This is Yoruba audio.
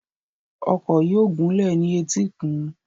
Ọkọ̀ yóò gúnlẹ̀ ní etíkun.